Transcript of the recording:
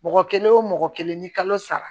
Mɔgɔ kelen o mɔgɔ kelen ni kalo sara